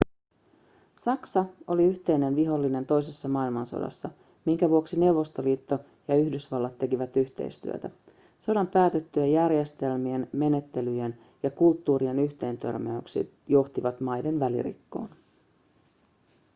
saksa oli yhteinen vihollinen toisessa maailmansodassa minkä vuoksi neuvostoliito ja yhdysvallat tekivät yhteistyötä sodan päätyttyä järjestelmien menettelyjen ja kulttuurien yhteentörmäykset johtivat maiden välirikkoon